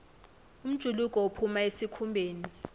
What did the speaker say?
umjuluko uphuma esikhumbeni